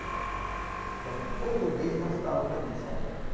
Então, todo mês nós estávamos aqui em São Paulo.